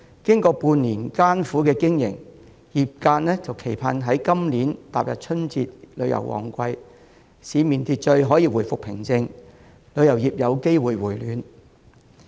經過半年的艱苦經營，業界期盼今年踏入春節旅遊旺季，市面秩序可以回復平靜，旅遊業有機會回暖。